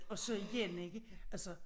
Og så igen ikke altså